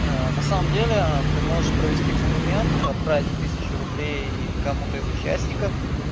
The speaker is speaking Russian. на самом деле ты можешь провести эксперимент отправить тысячу рублей кому-то из участников